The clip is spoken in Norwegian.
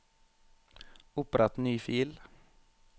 Opprett ny fil